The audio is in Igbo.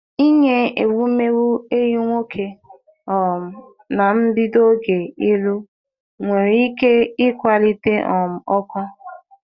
Inye ewumewụ ehi nwoke um na mbido oge ịlụ nwere ike ịkwalite um ọkụ.